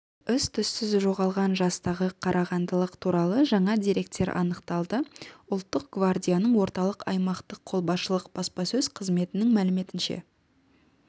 із-түссіз жоғалған жастағы қарағандылық туралы жаңа деректер анықталды ұлттық гвардияның орталық аймақтық қолбасшылық баспасөз қызметінің мәліметінше